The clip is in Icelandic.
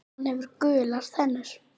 Hann hefur gular tennur.